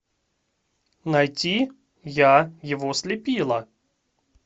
найти я его слепила